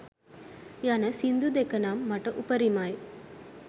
යන සිංදු දෙක නම් මට උපරිමයි.